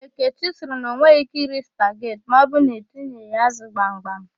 Ekechi sịrị na o nweghị íké iri spaget ma ọbụrụ na etinyeghị ya ázụ̀ gbamgbam.